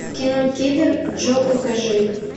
кино киллер джо покажи